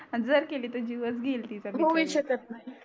जर केली तर जीवच घेईल तिचा होऊ शकत नाही